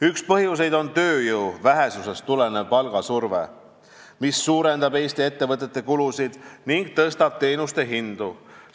Üks põhjuseid on tööjõu vähesusest tulenev palgasurve, mis suurendab Eesti ettevõtete kulusid ning tõstab teenuste hindu.